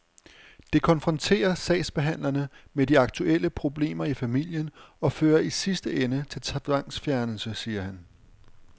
Det konfronterer sagsbehandlerne med de aktuelle problemer i familien og fører i sidste ende til tvangsfjernelse, siger han.